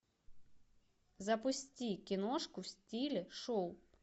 запусти киношку в стиле шоу